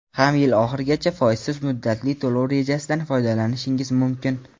ham yil oxirigacha foizsiz muddatli to‘lov rejasidan foydalanishingiz mumkin.